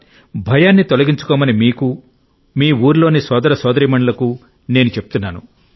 భయాన్ని తొలగించుకొమ్మని మీకు మీ ఊరిలోని సోదర సోదరీమణులకు నేను చెప్తున్నాను